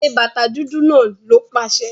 Ṣẹ bátà dúdú náà, ló paṣẹ̀!